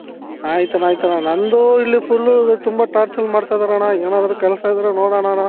ಆಯ್ತಣ್ಣ ಆಯ್ತಣ್ಣ ನಂದು ಇಲ್ಲಿ fullಲು ತುಂಬಾ torture ಮಾಡ್ತಾ ಇದ್ದಾರಣ್ಣ ಏನಾದ್ರು ಕೆಲಸ ಇದ್ರೆ ನೋಡಣ ಅಣ್ಣ